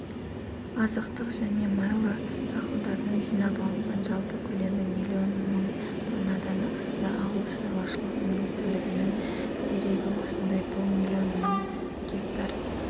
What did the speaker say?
азықтық және майлы дақылдардың жинап алынған жалпы көлемі миллион мың тоннадан асты ауыл шаруашылығы министрлігінің дерегі осындай бұл миллион мың гектар